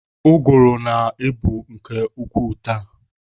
Ụgụrụ na-ebu nke ukwuu taa.